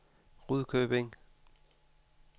Rudkøbing